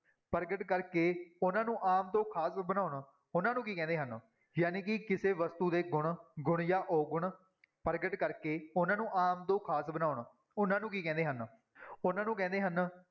ਪ੍ਰਗਟ ਕਰਕੇ ਉਹਨਾਂ ਨੂੰ ਆਮ ਤੋਂ ਖ਼ਾਸ ਬਣਾਉਣ, ਉਹਨਾਂ ਨੂੰ ਕੀ ਕਹਿੰਦੇ ਹਨ ਜਾਣੀ ਕਿ ਕਿਸੇ ਵਸਤੂ ਦੇ ਗੁਣ, ਗੁਣ ਜਾਂ ਔਗੁਣ ਪ੍ਰਗਟ ਕਰਕੇ ਉਹਨਾਂ ਨੂੰ ਆਮ ਤੋਂ ਖ਼ਾਸ ਬਣਾਉਣ, ਉਹਨਾਂ ਨੂੰ ਕੀ ਕਹਿੰਦੇ ਹਨ ਉਹਨਾਂ ਨੂੰ ਕਹਿੰਦੇ ਹਨ